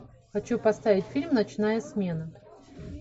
хочу поставить фильм ночная смена